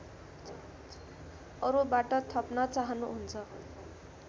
अरूबाट थप्न चाहनुहुन्छ